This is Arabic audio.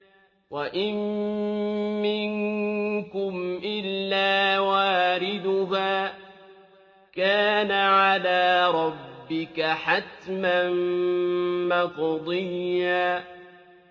وَإِن مِّنكُمْ إِلَّا وَارِدُهَا ۚ كَانَ عَلَىٰ رَبِّكَ حَتْمًا مَّقْضِيًّا